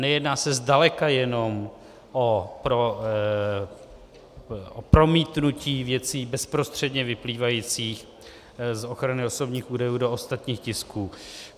Nejedná se zdaleka jenom o promítnutí věcí bezprostředně vyplývajících z ochrany osobních údajů do ostatních tisků .